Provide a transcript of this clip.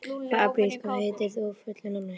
Fabrisíus, hvað heitir þú fullu nafni?